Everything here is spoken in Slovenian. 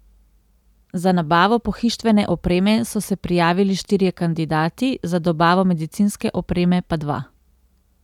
Za nabavo pohištvene opreme so se prijavili štirje kandidati, za dobavo medicinske opreme pa dva.